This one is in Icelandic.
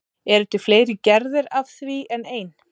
Eru til fleiri gerðir af því en ein?